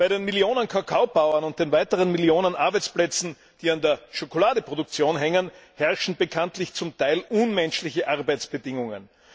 Bei den Millionen Kakaobauern und den weiteren Millionen Arbeitsplätzen, die an der Schokoladeproduktion hängen, herrschen zum Teil unmenschliche Arbeitsbedingungen.